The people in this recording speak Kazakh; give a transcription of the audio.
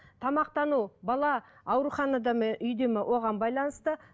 тамақтану бала ауруханада ма үйде ме оған байланысты